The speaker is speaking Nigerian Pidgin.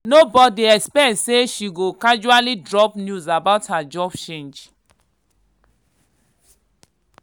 nobody expect say she go casually drop news about her job change.